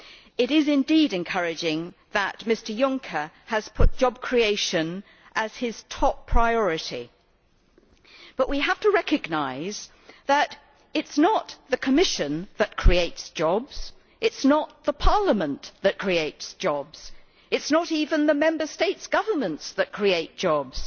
It is indeed encouraging that Mr Juncker has put job creation as his top priority, but we have to recognise that it is not the Commission that creates jobs, it is not Parliament that creates jobs, it is not even the Member States' governments that create jobs.